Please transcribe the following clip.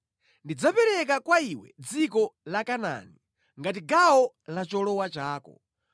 “Ndidzapereka kwa iwe dziko la Kanaani ngati gawo la cholowa chako.”